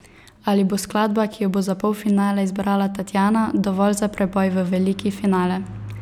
Ali bo skladba, ki jo bo za polfinale izbrala Tatjana, dovolj za preboj v veliki finale?